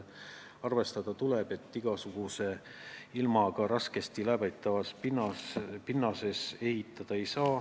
Arvestada tuleb, et igasuguse ilmaga raskesti läbitavas pinnases ehitada ei saa.